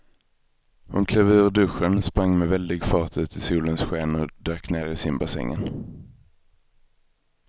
Hon klev ur duschen, sprang med väldig fart ut i solens sken och dök ner i simbassängen.